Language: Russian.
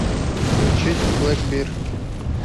включить блэкбир